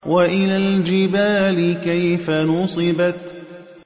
وَإِلَى الْجِبَالِ كَيْفَ نُصِبَتْ